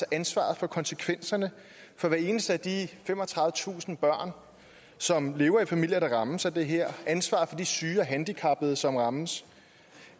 ansvaret for konsekvenserne for hvert eneste af de femogtredivetusind børn som lever i familier der rammes af det her ansvaret for de syge og handicappede som rammes